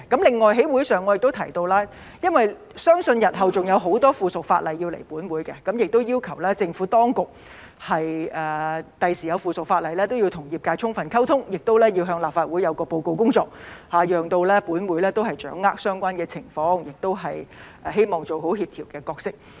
另外，我在會議上亦提到，因為相信日後還有很多相關附屬法例要提交本會，要求政府當局未來提交附屬法例時，都要與業界充分溝通，也要向立法會報告工作，讓本會掌握相關的情況，亦希望做好協調的角色。